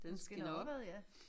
Den skinner opad ja